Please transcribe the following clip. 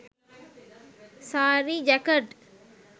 saari jacket